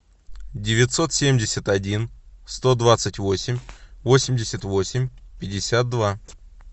девятьсот семьдесят один сто двадцать восемь восемьдесят восемь пятьдесят два